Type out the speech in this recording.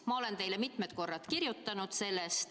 Ma olen teile mitmed korrad sellest kirjutanud.